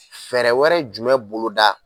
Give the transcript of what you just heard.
Fɛɛrɛ wɛrɛ jumɛn boloda.